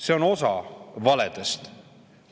See on osa valedest.